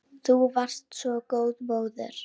Þú varst svo góð móðir.